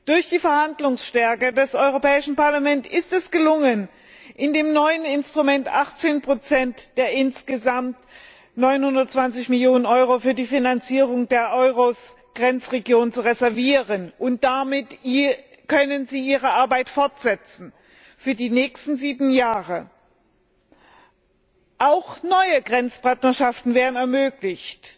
Durch die Verhandlungsstärke des Europäischen Parlaments ist es gelungen, in dem neuen Instrument 18 der insgesamt 920 Millionen Euro für die Finanzierung der EURES Grenzregionen zu reservieren, und damit können sie ihre Arbeit für die nächsten sieben Jahre fortsetzen. Auch neue Grenzpartnerschaften werden ermöglicht.